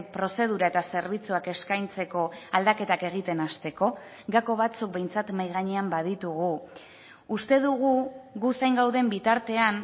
prozedura eta zerbitzuak eskaintzeko aldaketak egiten hasteko gako batzuk behintzat mahai gainean baditugu uste dugu gu zain gauden bitartean